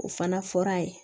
O fana fɔra a ye